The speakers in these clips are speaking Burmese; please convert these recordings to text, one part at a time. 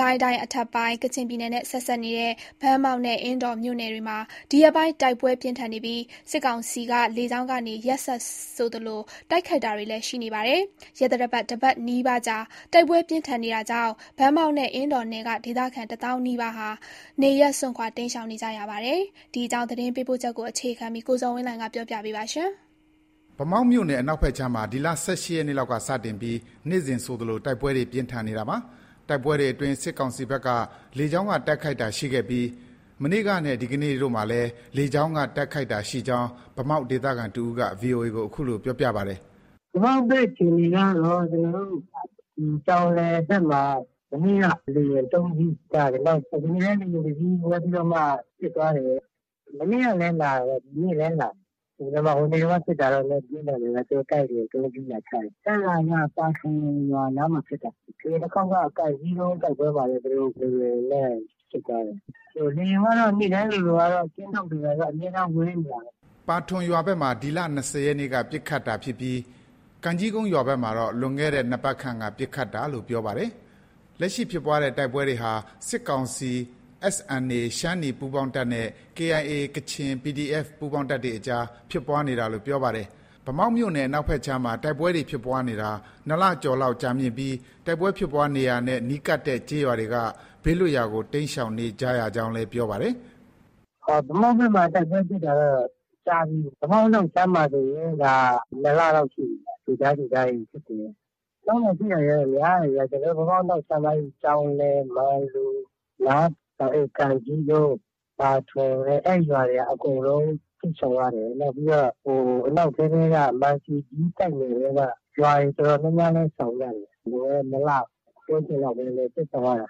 ကိုင်းတိုင်း အထက်ပိုင်း ကချင်ပြည်နယ်နဲ့ ဆက်စပ်နေတဲ့ ဗန်းမောက်နဲ့ အင်းတော်မြို့နယ်တွေအတွင်းမှာ ဒီရက်ပိုင်း တိုက်ပွဲပြင်းထန်နေပြီး စစ်ကောင်စီက လေကြောင်းကနေ ရက်ဆက်ဆိုသလို တိုက်ခိုက်တာ တွေရှိနေပါတယ်။ ရက်သတ္တတစ်ပတ်နီးပါးကြာ တိုက်ပွဲ ပြင်းထန်နေတာကြောင့် ဗန်းမောက်နဲ့ အင်းတော်နယ်က ဒေသခံ တစ်သောင်းနီးပါးဟာ နေရပ်စွန့်ခွာတိမ်းရှောင်နေရပါတယ်။ ဒီအကြောင်း သတင်းပေးပို့ချက်ကို အခြေခံပြီး ကိုဇော်ဝင်းလှိုင်က တင်ပြထားပါတယ်။ ဗန်းမောက်မြို့နယ် အနောက်ခြမ်းဘက်မှာ ဒီလ ၁၈ရက်နေ့လောက်ကစတင်ပြီး နေ့စဉ်ဆိုသလို တိုက်ပွဲတွေ ပြင်းထန်နေတာဖြစ်ပါတယ်။ ဒီတိုက်ပွဲတွေအတွင်း စစ်ကောင်စီဘက်က လေကြောင်းက တိုက်ခိုက်တာရှိခဲ့ပြီး မနေ့ကနဲ့ ဒီကနေ့တို့မှာလည်း လေကြောင်းက တိုက်ခိုက်တာရှိကြောင်း ဗန်းမောက် ဒေသခံတစ်ဦးက VOA ကို အခုလို ပြောပါတယ်။ “ဗန်းမောက်ဘက်အခြေအနေကတော့ ကျနော်တို့ ကြောင်လည်ဘက်မှာ မနေ့က လေယာဉ် ၃စီး ချတယ်။ နောက် ဒီနေ့လည်း လေယာဉ်တစ်စီး ဝဲပြီးတော့မှ ပစ်သွားတယ်။ မနေ့ကလည်း လာတယ်။ ဒီနေ့လည်း လာတယ်။ နောက်ပြီးတော့မှ ဟိုနေ့တုံးက ဖြစ်တာတော့ နည်နည်း ပြင်းထန်တယ်ဗျ။ သူတို့ တိုက်လေယာဉ် ၃စီး လာချတယ်။ အဲဒါက ပါထွန် ရွာနားမှာဖြစ်တယ်။ အရင်တစ်ခေါက်က ကံကြီးကုန်းတိုက်ပွဲမှာလည်း လေယာဉ်နဲ့ ပစ်သွားတယ်။ လေယာဉ်ကတော့ နေ့တိုင်းလိုလိုတော့ ကင်းထောက်တွေ ဘာတွေတော့ အမြဲတမ်း ဝဲနေတာပဲ။” ပါထွန်ရွာဘက်မှာ ဒီလ ၂၀ရက်နေ့က ပစ်ခတ်တာဖြစ်ပြီး ကံကြီးကုန်ရွာဘက်မှာတော့ လွန်ခဲ့တဲ့ နှစ်ပတ်ခန့်က ပစ်ခတ်ခဲ့တာလို့ ပြောပါတယ်။ လက်ရှိဖြစ်ပွားတဲ့ တိုက်ပွဲတွေဟာ စစ်ကောင်စီ၊ SNA ရှမ်းနီ ပူးပေါင်းတပ်နဲ့ KIA ကချင်၊ PDF ပူးပေါင်းတပ်တွေအကြား ဖြစ်ပွားနေတာလို့ ပြောပါတယ်။ ဗန်းမောက်မြို့နယ်အနောက်ခြမ်းမှာ တိုက်ပွဲတွေဖြစ်ပွားနေတာ ၂လ ကျော်လောက်ကြာမြင့်ပြီး တိုက်ပွဲဖြစ်ပွား နေရာနဲ့ နီးကပ်တဲ့ကျေးရွာတွေက စစ်ဘေးလွတ်ရာကို တိမ်းရှောင်နေရကြောင်းလည်း ပြောပါတယ်။ “ဗန်းမောက်ဘက်မှာ တိုက်ပွဲဖြစ်တာတော့ ကြာပြီ။ ဗန်းမောက်အနောက်ခြမ်းမှာဆိုရင် ၂လလောက်ရှိပြီ။ ကြိုကြား ကြိုကြားတွေဖြစ်တယ်။ ပြောင်းတာ ရွှေ့တာတွေကတော့ များတယ်ဗျ။ ဗန်းမောက်အနောက်ခြမ်းပိုင်း ကြောင်လည်၊ မံလူ၊ နားပင်၊ နောက် ကံကြီးကုန်း၊ ပါထွန် အဲဒီရွာတွေက အကုန်လုံး စစ်ရှောင်ရတယ်။ နောက်ပြီးတော့ အနောက်ထဲထဲက မံစီကြီး တိုက်နယ်ထဲက ရွာတွေ တော်တော်များများလည်း ရှောင်ရတယ်။ လွန်ခဲ့တဲ့ ၂လဝန်းကျင်လောက်တည်းကနေ စစ်ရှောင်ရတာ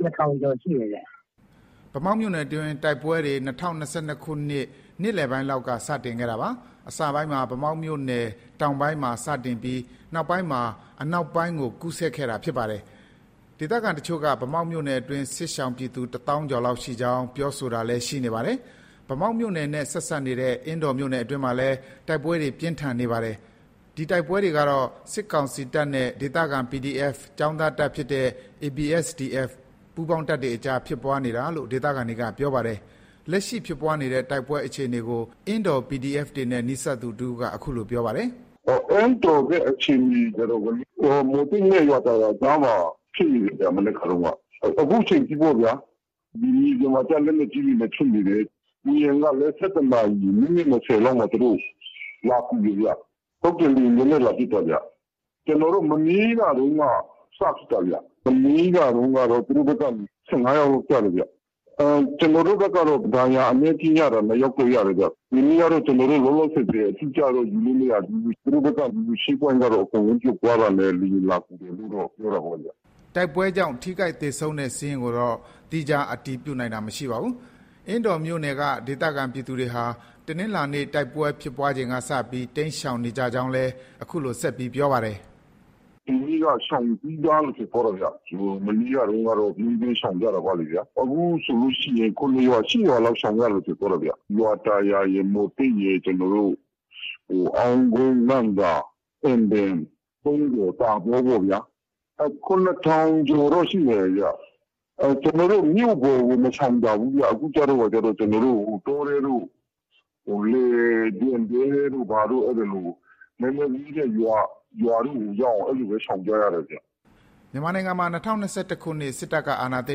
၂ထောင်ကျော် ရှိတယ်ဗျ။” ဗန်းမောက်မြို့နယ်အတွင်း တိုက်ပွဲတွေဟာ ၂၀၂၂ ခုနှစ် နှစ်လည်ပိုင်းလောက်က စတင်ခဲ့တာပါ။ အစပိုင်းမှာ ဗန်းမောက်မြို့နယ် တောင်ပိုင်းမှာ စတင်ပြီး နောက်ပိုင်းမှာ အနောက်ပိုင်း ကူးစက်ခဲ့တာဖြစ်ပါတယ်။ ဒေသခံတစ်ချို့က ဗန်းမောက်မြို့နယ်အတွင်း စစ်ရှောင်ပြည်သူ တစ်သောင်းကျော်လောက်ရှိနိုင်ကြောင်း ပြောဆိုတာလည်း ရှိနေပါတယ်။ ဗန်းမောက်မြို့နယ်နဲ့ ဆက်စပ်နေတဲ့ အင်းတော်မြို့နယ်အတွင်းမှာလည်း တိုက်ပွဲတွေ ပြင်းထန်နေပါတယ်။ ဒီတိုက်ပွဲတွေကတော့ စစ်ကောင်စီတပ်နဲ့ ဒေသခံ PDF၊ ကျောင်းသားတပ်ဖြစ်တဲ့ ABSDF ပူးပေါင်းတပ်တွေအကြား ဖြစ်ပွားနေတာလို့ ဒေသခံတွေက ပြောပါတယ်။ လက်ရှိ ဖြစ်ပွားနေတဲ့ တိုက်ပွဲအခြေအနေကို အင်းတော် PDF တွေနဲ့ နီးစပ်သူတစ်ဦးက အခုလို ပြောပါတယ်။ “အင်းတော်ဘက် အခြေအနေကတော့ မော်တိတ်နဲ့ ရွာသာယာကြားမှာ ဖြစ်နေတယ်ဗျ။ မနက်ကတုံးက။ အခုချိန်ထိပေါ့ဗျာ။ မြေပြင်မှာကျ လက်နက်ကြီးတွေနဲ့ ထုနေတယ်။ ဝေဟင်ကလည်း ၁၁နာရီ မိနစ် ၂၀လောက်မှာ လာကူတယ်ဗျ။ ဟုတ်တယ် လေယာဉ်တွေနဲ့ လာပစ်တာဗျ။ ကျနော်တို့ မနေ့ကတုံးက စဖြစ်တာဗျ။ မနေ့ကတုံးကတော့ သူတို့ဘက်ကလူ ၁၅ယောက်လောက် ကျတယ်ဗျ။ ကျနော်တို့ဘက်ကတော့ ဒဏ်ရာအနည်းအကျဉ်းရတာ ၂ယောက်တော့ ရတယ်ဗျ။ ဒီကနေ့ကတော့ လောလောဆည်ဆည် အတိအကျ ယူလို့မရသေးဘူး။ သူတို့ဘက်ကတော့ ရှေ့ပွိုင့် အကုန်လုံးပြုတ်သွားတာနဲ့ လေယာဉ်လာကူတယ်လို့တော့ ပြောတာပေါ့ဗျ။ ” တိုက်ပွဲကြောင့် ထိခိုက်သေဆုံးတဲ့စာရင်းကိုတော့ သီးခြားအတည်ပြုနိုင်တာမရှိပါဘူး။ အင်းတော်မြို့နယ်က ဒေသခံပြည်သူတွေဟာ တနင်္လာနေ့ တိုက်ပွဲဖြစ်ချိန်ကစတင်ပြီး တိမ်းရှောင်နေကြောင်းလည်း အခုလို ဆက်ပြောပါတယ်။ “ဒီနေ့က ရှောင်ပြီးသားလို ဖြစ်သွားတာဗျ။ မနေ့ကတုံးက ဖြည်းဖြည်းချင်း ရှောင်ကြတာလေဗျာ။ အခုဆိုရင် (၇) ရွာ၊ (၈) ရွာလောက် ရှောင်ရသလို ဖြစ်သွားတာဗျ။ ရွာသာယာရယ်၊ မော်တိတ်ရယ်၊ အောင်းကုန်း၊ နံသာ၊ အင်ပင်၊ တုံးတော်၊ တာပေါ ပေါ့ဗျာ။ ၇ထောင်ကျော်တော့ ရှိမယ်ဗျ။ ကျနော်တို့ မြို့ပေါ်ကို မရှောင်သာဘူးဗျ။ အခုကျတော့ခါကျတော့ ကျနော်တို့ တောထဲတို့၊ လယ်ပြင်တဲထဲတို့ ဘာတို့ အဲဒီလို နည်းနည်းနီးတဲ့ရွာတို့ကို ရောက်အောင် အဲလိုပဲ ရှောင်ကြရတယ်ဗျ။” မြန်မာနိုင်ငံမှာ ၂၀၂၁ ခုနှစ် စစ်တပ်က အာဏာသိ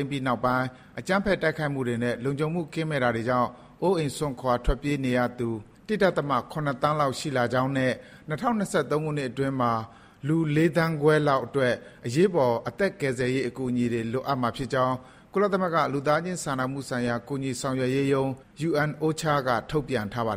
မ်းပြီးနောက် အကြမ်းဖက်တိုက်ခိုက်မှုတွေနဲ့ လုံခြုံမှုကင်းမဲ့တာတွေကြောင့် အိုးအိမ် စွန့်ခွါထွက်ပြေးရသူ ၁ ဒဿမ ၇သန်း လောက်ရှိလာကြောင်းနဲ့ ၂၀၂၃ ခုနှစ်အတွင်းမှာ လူ ၄ သန်းခွဲလောက်အတွက် အရေးပေါ် အသက်ကယ်ဆယ်ရေး အကူအညီတွေ လိုအပ်မှာဖြစ်ကြောင်း ကုလသမဂ္ဂ လူသားချင်းစာနာမှုဆိုင်ရာ ညှိနှိုင်းဆောင်ရွက်ရေးရုံး UNOCHA က ထုတ်ပြန်ထားပါတယ်